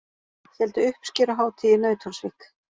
Héldu uppskeruhátíð í Nauthólsvík